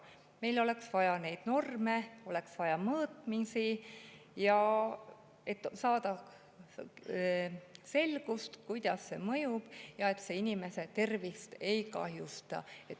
Meil oleks vaja neid norme, oleks vaja mõõtmisi, et saada selgust, kuidas see mõjub ja ega see inimese tervist ei kahjusta.